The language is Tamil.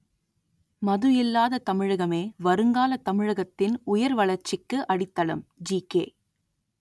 மது இல்லாத தமிழகமே வருங்கால தமிழகத்தின் உயர் வளர்ச்சிக்கு அடித்தளம் ஜிகே